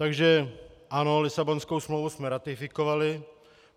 Takže ano, Lisabonskou smlouvu jsme ratifikovali.